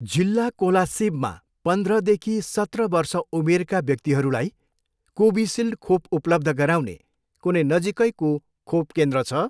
जिल्ला कोलासिबमा पन्ध्रदेखि सत्र वर्ष उमेरका व्यक्तिहरूलाई कोभिसिल्ड खोप उपलब्ध गराउने कुनै नजिकैको खोप केन्द्र छ?